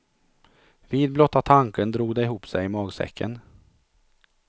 Vid blotta tanken drog det ihop sig i magsäcken.